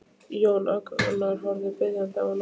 Jón Agnar horfir biðjandi á hann.